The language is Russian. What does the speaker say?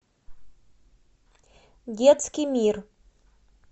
детский мир